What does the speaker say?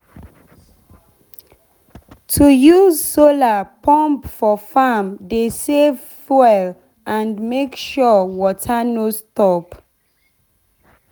to use solar pump for farm dey save fuel and make sure water no stop.